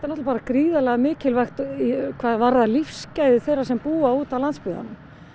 bara gríðarlega mikilvægt hvað varðar lífsgæði þeirra sem búa úti á landsbyggðunum